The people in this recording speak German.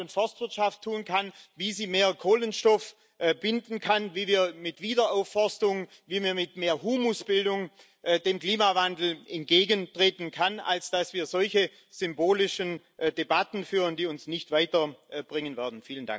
die Land und Forstwirtschaft tun kann, wie sie mehr Kohlenstoff binden kann, wie wir mit Wiederaufforstung, wie wir mit mehr Humusbildung dem Klimawandel entgegentreten können, als dass wir solche symbolischen Debatten führen, die uns nicht weiterbringen werden.